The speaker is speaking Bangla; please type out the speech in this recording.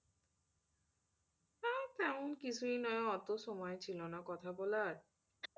ও তেমন কিছুই নয় অত সময় ছিল না কথা বলার,